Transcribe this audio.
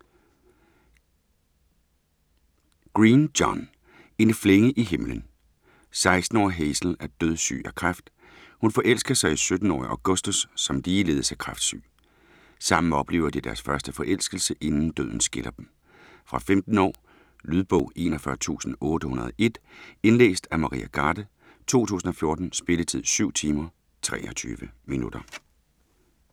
Green, John: En flænge i himlen 16-årige Hazel er dødssyg af kræft. Hun forelsker sig i 17-årige Augustus som ligeledes er kræftsyg. Sammen oplever de deres første forelskelse, inden døden skiller dem. Fra 15 år. Lydbog 41801 Indlæst af Maria Garde, 2014. Spilletid: 7 timer, 23 minutter.